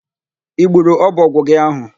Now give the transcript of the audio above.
I gburu ọbọgwụ gị áhụ̀?